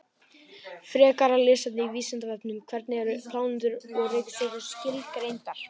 Frekara lesefni á Vísindavefnum: Hvernig eru plánetur og reikistjörnur skilgreindar?